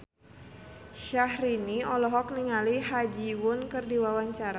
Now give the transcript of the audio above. Syahrini olohok ningali Ha Ji Won keur diwawancara